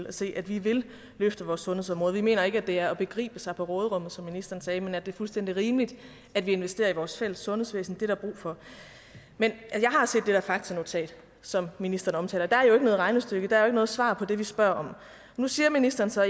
og se at vi vil løfte vores sundhedsområde vi mener ikke at det er forgribe sig på råderummet som ministeren sagde men at det er fuldstændig rimeligt at vi investerer i vores fælles sundhedsvæsen det er der brug for jeg har set det der faktanotat som ministeren omtaler der er jo ikke noget regnestykke der er jo ikke noget svar på det vi spørger om nu siger ministeren så